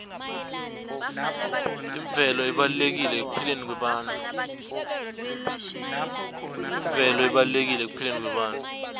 imvelo ibalulekile ekuphileni kwebantfu